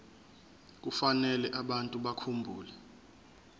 kufanele abantu bakhumbule